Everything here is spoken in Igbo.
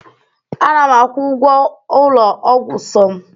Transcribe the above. ana m akwụ ụgwọ ụlọ ọgwụ som